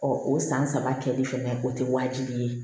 o san saba kɛli fɛnɛ o tɛ wajibi ye